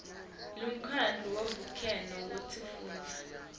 lemkhandlu wavelonkhe wetifundza